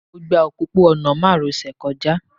Mo gba òpópó-ọ̀nà márosẹ̀ kọjá